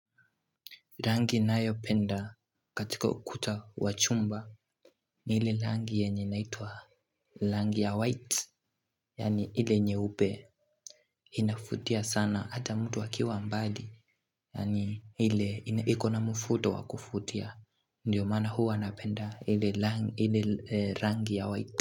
Rangi nayo penda katika kuta wachumba ni hile rangi yenye naitua rangi ya white Yani hile nyeube Inafutia sana ata mtu akiwa mbali Yani hile hiko na mfuto wakufutia Ndiyo mana huu anapenda hile rangi ya white.